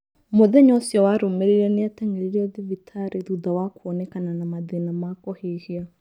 Mũthenya ũcio warũmĩrĩire nĩateng'erirwo thibitarĩ thutha wa kũonekana na mathĩna ma kũhihia